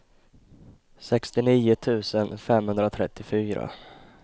sextionio tusen femhundratrettiofyra